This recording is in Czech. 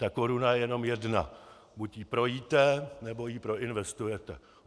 Ta koruna je jenom jedna, buď ji projíte, nebo ji proinvestujete.